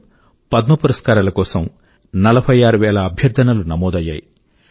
2020లో పద్మ పురస్కారాల కోసం 46 వేల అభ్యర్థనలు నమోదు అయ్యాయి